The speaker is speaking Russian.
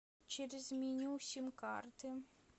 через меню сим карты